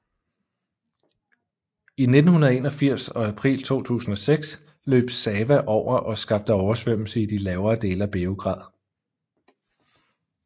I 1981 og april 2006 løb Sava over og skabte oversvømmelse i de lavere dele af Beograd